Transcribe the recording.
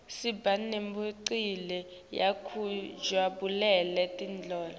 siba nemicimbi yekujabulela temidlalo